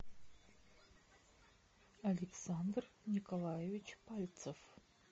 александр николаевич пальцев